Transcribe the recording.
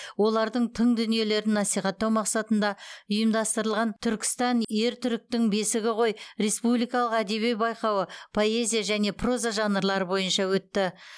олардың тың дүниелерін насихаттау мақсатында ұйымдастырылған түркістан ер түріктің бесігі ғой республикалық әдеби байқауы поэзия және проза жанрлары бойынша өтті